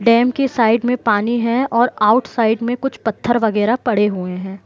Dam के side में पानी है और आउटसाइड में कुछ पत्थर बगेरा पडे हुए है।